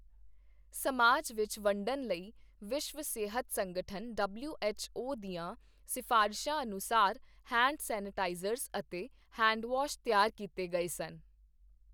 ਸਮਾਜ ਵਿੱਚ ਵੰਡਣ ਲਈ ਵਿਸ਼ਵ ਸਿਹਤ ਸੰਗਠਨ ਡਬਲਿਊ ਐੱਚ ਓ ਦੀਆਂ ਸਿਫ਼ਾਰ਼ਸ਼ਾਂ ਅਨੁਸਾਰ ਹੈਂਡ ਸੈਨੇਟਾਈਜ਼ਰਜ਼ ਅਤੇ ਹੈਂਡਵਾਸ਼ ਤਿਆਰ ਕੀਤੇ ਗਏ ਸਨ।